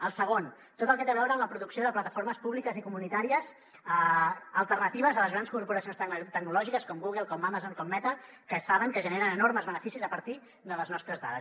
el segon tot el que té a veure amb la producció de plataformes públiques i comunitàries alternatives a les grans corporacions tecnològiques com google com amazon com meta que saben que generen enormes beneficis a partir de les nostres dades